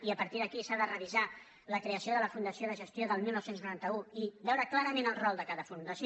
i a partir d’aquí s’ha de revisar la creació de la funda·ció de gestió del dinou noranta u i veure clarament el rol de cada fundació